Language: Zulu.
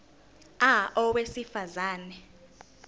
a owesifaz ane